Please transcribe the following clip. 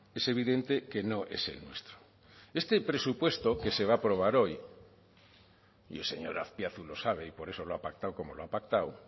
es evidente que no es el nuestro este presupuesto que se va a aprobar hoy y el señor azpiazu lo sabe y por eso lo ha pactado como lo ha pactado